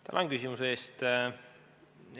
Tänan küsimuse eest!